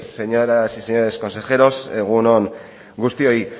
señoras y señores consejeros egun on guztioi